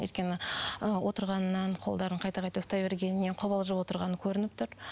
өйткені і отырғаннан қолдарын қайта қайта ұстай бергенінен қобалжып отырғаны көрініп тұр